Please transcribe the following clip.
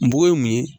N bugɔ mun ye